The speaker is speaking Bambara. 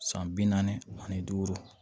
San bi naani ani duuru